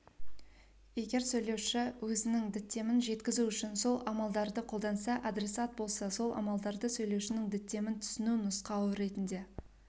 егер сөйлеуші өзінің діттемін жеткізу үшін сол амалдарды қолданса адресат болса сол амалдарды сөйлеушінің діттемін түсіну нұсқауы ретінде